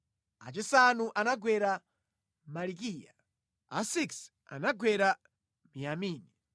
achisanu anagwera Malikiya, achisanu ndi chimodzi anagwera Miyamini,